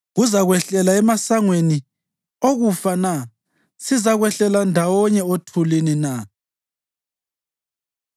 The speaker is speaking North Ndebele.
Kuzakwehlela emasangweni okufa na? Sizakwehlela ndawonye othulini na?”